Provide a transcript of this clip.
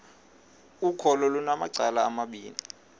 ukholo lunamacala amabini